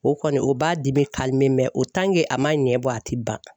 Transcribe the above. O kɔni o b'a dimi o a ma ɲɛbɔ a ti ban.